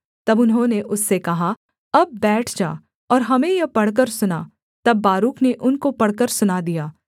तब उन्होंने उससे कहा अब बैठ जा और हमें यह पढ़कर सुना तब बारूक ने उनको पढ़कर सुना दिया